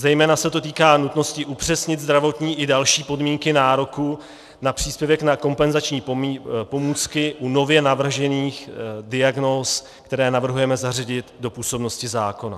Zejména se to týká nutnosti upřesnit zdravotní i další podmínky nároku na příspěvek na kompenzační pomůcky u nově navržených diagnóz, které navrhujeme zařadit do působnosti zákona.